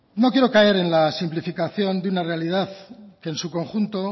no quiero caer en la simplificación de una realidad que en su conjunto